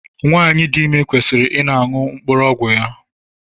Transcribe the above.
Nwanyi dị ime kwesịrị I na aṅụ mkpụrụ ọgwụ ya.